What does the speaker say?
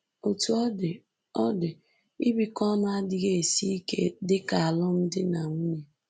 Otú ọ dị, ọ dị, ibikọ ọnụ adịghị esi ike dị ka alụmdi na nwunye